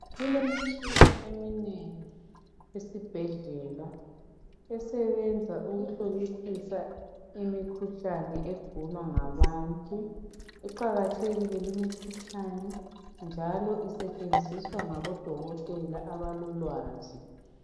Kulemitshina eminengi esibhedlela esebenza ukuhlolisisa imikhuhlane egulwa ngabantu iqakathekile limikhuhlane njalo isetshenziswa ngabodokotela abalolwazi